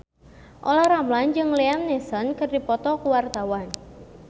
Olla Ramlan jeung Liam Neeson keur dipoto ku wartawan